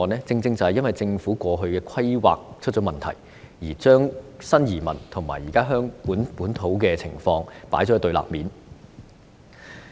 正正因為政府過去出現規劃問題，將新移民和現時香港本土的情況放在對立面。